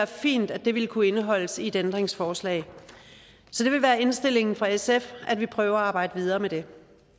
fint ville kunne indeholdes i et ændringsforslag så det vil være indstillingen fra sf at vi prøver at arbejde videre med det